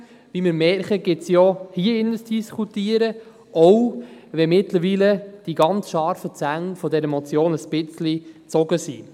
Wie wir merken, gibt sie auch hier in diesem Saal zu diskutieren, auch wenn die ganz scharfen Zähne dieser Motion mittlerweile ein bisschen gezogen sind.